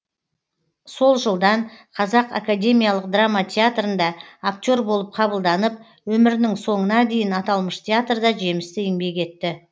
сол жылдан қазақ академиялық драма театрында актер болып қабылданып өмірінің соңына дейін аталмыш театрда жемісті еңбек етті